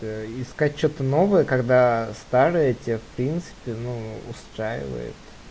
ээ искать что-то новое когда старая тебя в принципе ну устраивает